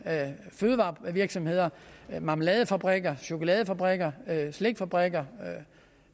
fødevarevirksomheder marmeladefabrikker chokoladefabrikker slikfabrikker